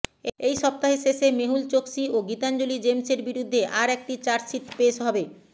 এই সপ্তাহের শেষে মেহুল চোক্সী ও গীতাঞ্জলি জেমসের বিরুদ্ধে আর একটি চার্জশিট পেশ হবে